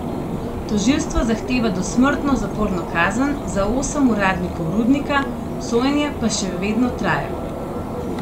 Tožilstvo zahteva dosmrtno zaporno kazen za osem uradnikov rudnika, sojenje pa še vedno traja.